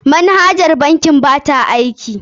Manhajar bankin ba ta aiki.